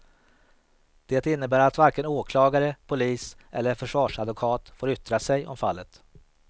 Det innebär att varken åklagare, polis eller försvarsadvokat får yttra sig om fallet.